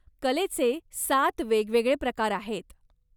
कलेचे सात वेगवेगळे प्रकार आहेत.